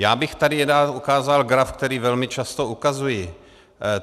Já bych tady rád ukázal graf, který velmi často ukazuji.